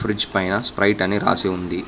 Fridge పైన Sprite అని రాసి ఉంది.